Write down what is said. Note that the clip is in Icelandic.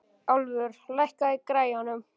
Álfur, lækkaðu í græjunum.